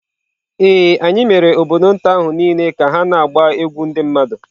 Ee, anyị mere obodo nta ahụ niile ka ha na-agba egwú ndị mmadụ.